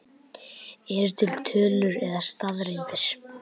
Eru til tölur eða staðreyndir?